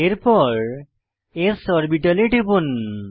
এরপর s অরবিটালে টিপুন